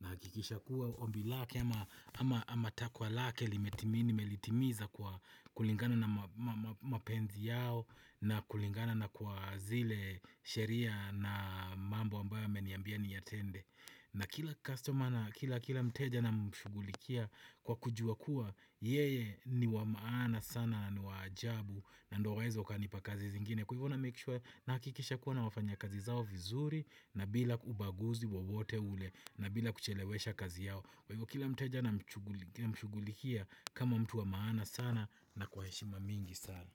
nahakikisha kuwa ombi lake ama ama takwa lake limetimini nimelitimiza kwa kulingana na mapenzi yao na kulingana na kwa zile sheria na mambo ambayo ameniambia niyatende. Na kila customer na kila mteja namshugulikia kwa kujua kuwa yeye ni wa maana sana na ni wa ajabu na ndo waweze wakanipa kazi zingine. Kwa hivo namake sure nahakikisha kuwa nawafanya kazi zao vizuri na bila ubaguzi wawote ule na bila kuchelewesha kazi yao. Kwa hivo kila mteja namshugulikia kama mtu wa maana sana na kwa heshima mingi sana.